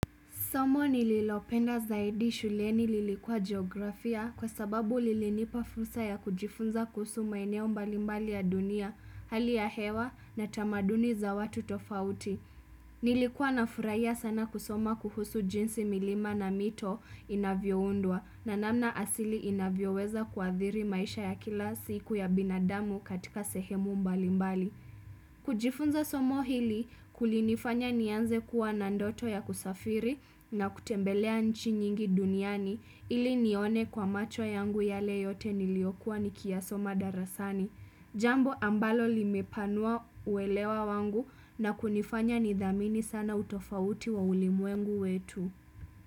Somo nililopenda zaidi shuleni lilikuwa geografia kwa sababu lilinipa fursa ya kujifunza kuhusu maeneo mbalimbali ya dunia, hali ya hewa na tamaduni za watu tofauti. Nilikuwa nafurahia sana kusoma kuhusu jinsi milima na mito inavyoundwa na namna asili inavyoweza kuadhiri maisha ya kila siku ya binadamu katika sehemu mbalimbali. Kujifunza somo hili kulinifanya nianze kuwa na ndoto ya kusafiri na kutembelea nchi nyingi duniani ili nione kwa macho yangu yale yote niliokuwa nikiyasoma darasani. Jambo ambalo limepanua uwelewa wangu na kunifanya nidhamini sana utofauti wa ulimwengu wetu.